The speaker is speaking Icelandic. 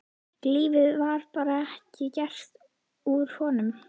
Lífið var bara ekki gert úr honum.